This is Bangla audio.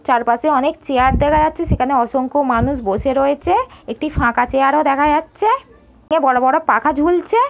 চারপাশে অনেক চেয়ার দেখা যাচ্ছে সেখানে অসংখ্য মানুষ বসে রয়েছে-এ একটি ফাঁকা চেয়ার ও দেখা যাচ্ছে-এ বড় বড় পাখা ঝুলছে।